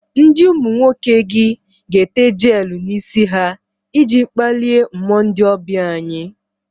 Ndi umu nwoke gi ga-ete jelu n'isi ha iji kpalie mmuo ndi obia anyi